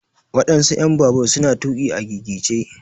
waɗansu en babur su na tuƙi a gigice.